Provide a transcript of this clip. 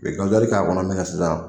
u ye k'a kɔnɔ min kɛ sisan